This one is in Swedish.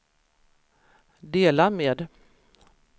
dela med